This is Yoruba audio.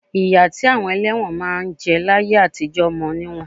Ìyà tí àwọn ẹlẹ́wọ̀n máa ń jẹ láyé àtijọ mọ níwọ̀n